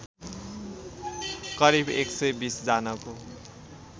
करिब एक सय २० जनाको